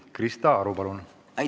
Krista Aru, palun!